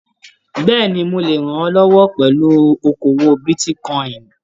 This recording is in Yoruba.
Bẹ́ẹ̀ni, mo le rànmílọwọ́ pẹlú okoowó bitíkọ̀in.